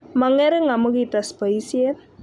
Mongering amu kites boisiet